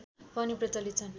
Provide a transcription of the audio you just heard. पनि प्रचलित छन्